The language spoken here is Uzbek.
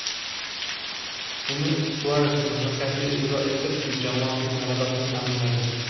Uni Suares muvaffaqiyatli ijro etib, jamoasining g‘alabasini ta’minladi.